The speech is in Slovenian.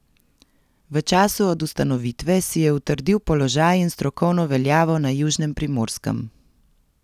V času od ustanovitve si je utrdil položaj in strokovno veljavo na južnem Primorskem.